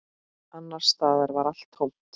Annars staðar var allt tómt.